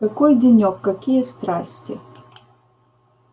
какой денёк какие страсти